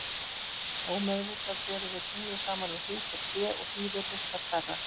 Ómeðvitað berum við tunglið saman við hús og tré og því virðist það stærra.